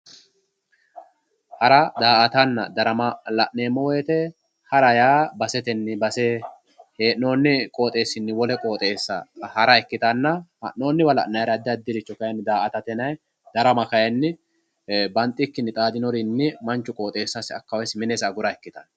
Hara, da"attanna darama lanneemmo woyte ,hara yaa baseteni base hee'nonni qoxxeesinni wole qoxxeessa ha'ra ikkittanna ,ha'nonniwa addi addirichi da"aatta ikkittanna ,darama kayinni banxikkinni manchu qoxeessasi minesi agura ikkittano.